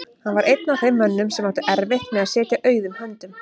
Hann var einn af þeim mönnum sem áttu erfitt með að sitja auðum höndum.